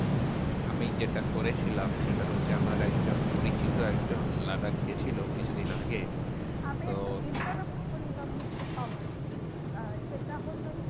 আমি যেটা করেছিলাম সেটা হচ্ছে, আমার একজন পরিচিত একজন লাদাখ গেছিলো কিছুদিন আগে। তো আমি একটু interrupt করলাম mister পাবন আহ সেটা হলো